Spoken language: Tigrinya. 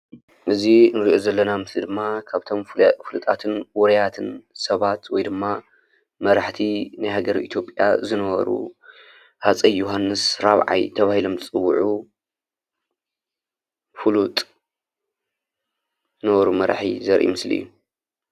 እዚ እንሪኦ ዘለና ምስሊ ድማ ካብቶም ፍሉጣትን ዉሩያትን ሰባት ወይ ድማ መራሕቲ ናይ ሃገረ ኢትዮጵያ ዝነበሩ ሃፀይ ዮዉሃንስ ራብዓይ ተባሂሎም ዝፅዉዑ ፍሉጥ ነበሩ መራሒ ዘርኢ ምስሊ እዩ።